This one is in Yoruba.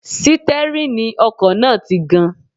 Sítẹ́rìnì ọkọ̀ náà ti gan-an